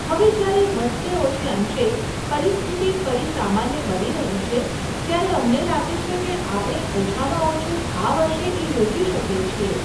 હવે જયારે વધતે ઓછે અંશે પરિસ્થિતિ ફરી સામાન્ય બની રહી છે, ત્યારે અમને લાગે છે કે આપણે ઓછામાં ઓછું આ વર્ષે એ યોજી શકીએ છીએ.